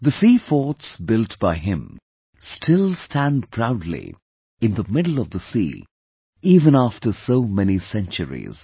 The Seaforts built by him still stand proudly in the middle of the sea even after so many centuries